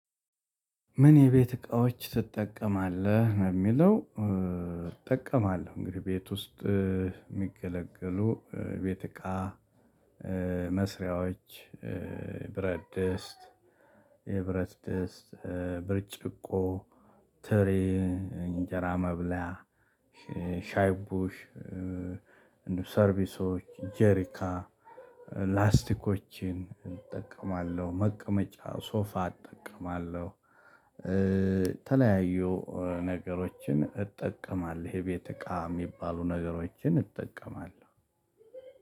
ምን የቤት እቃዎች ትጠቀማለህ ነው የሚለው እጠቀማለሁ እንግዲህ ቤት ውስጥ የሚገለገሉ ቤት እቃ መስሪያዎች ብረት ድስት የብረት ደስት ብርጭቆ ትሪ እንጀራ መብላያ ሻይ ቡሽ ሰርቪሶች ጄሪካ ላስቲኮችን እጠቀማለሁ። መቀመጫ ሶፋ እጠቀማለሁ። የተለያዩ ነገሮችን እጠቀማለሁ። የቤት እቃ የሚባሉ ነገሮችን እጠቀማለሁ።